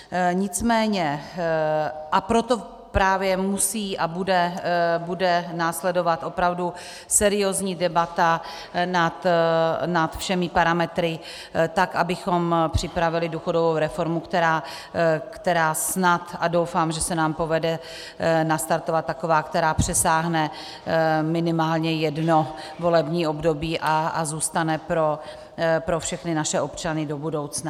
Nicméně... a proto právě musí a bude následovat opravdu seriózní debata nad všemi parametry tak, abychom připravili důchodovou reformu, která snad, a doufám, že se nám povede nastartovat taková, která přesáhne minimálně jedno volební období a zůstane pro všechny naše občany do budoucna.